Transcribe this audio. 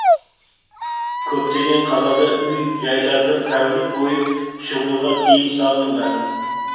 көптеген қалада үй жайлардан тәулік бойы шығуға тыйым салынған